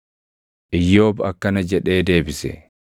Iyyoob akkana jedhee deebise: